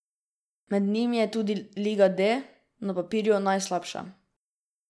Med njimi je tudi liga D, na papirju najslabša.